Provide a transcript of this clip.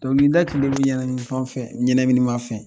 Dɔnkilida tun bɛ ne ɲɛnaminin fɛn fɛn ɲɛnaminama fɛn